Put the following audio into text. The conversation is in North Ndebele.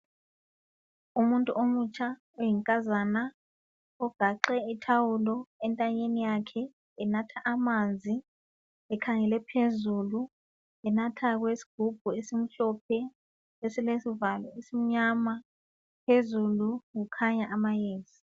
umuntu omutsha oyinkazana ogaxe ithawulo entanyeni yakhe enatha amanzi ekhangele phezulu enatha esigubhini esimhlophe esilesivalo esimnyama phezulu kukhanya amayezi